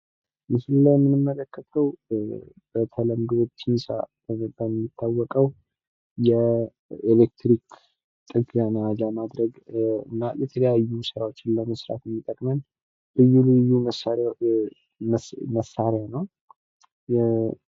ምስሉ ላይ የምንመለከተው በተለምዶ ፒንሳ በመባል የሚታወቀው የኤለክትሪክ ጥገና ለማድረግ እና የተለያዩ ስራዎችን ለመስራት የሚጠቅመን ልዩ ልዩ መሳሪያ ነው፡፡